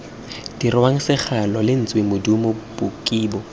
dirwang segalo lentswe modumo bokibo